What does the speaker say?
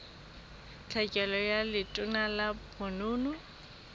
tlhekelo ka letona la bonono